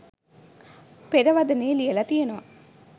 පෙරවදනෙ ලියලා තියෙනවා.